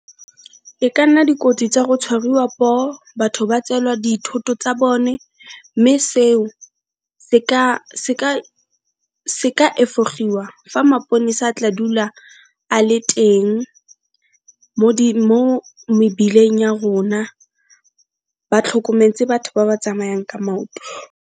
E ka nna dikotsi tsa go tshwariwa poo, batho ba tseelwa dithoto tsa bone mme seo se ka efogiwa fa maponesa a tla dula a le teng mo mebileng ya rona, ba tlhokometse batho ba ba tsamayang ka maoto.